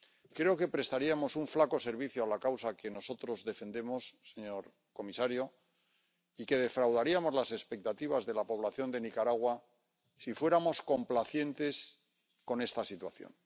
Creo que prestaríamos un flaco servicio a la causa que nosotros defendemos, señor comisario, y que defraudaríamos las expectativas de la población de Nicaragua si fuéramos complacientes con esta situación.